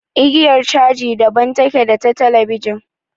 Igiyar caji daban take da ta talabijin.